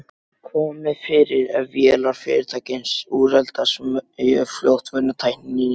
komið fyrir ef vélar fyrirtækis úreltast mjög fljótt vegna tækninýjunga.